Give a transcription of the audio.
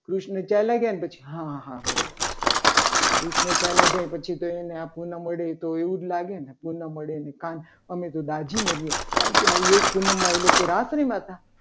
કૃષ્ણ ચાલ્યા ગયા ને પછી હા બરાબર કૃષ્ણ ચાલ્યા જાય. પછી તો એને આખું નામ મળે એટલે એને તો એવું જ લાગે ને કે ન મળે ને કાન અમે તો દાઝી મળીએ કારણકે આ લેખ પૂનમમાં એ લોકો રાત્રે ના હતા.